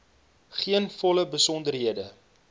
gee volle besonderhede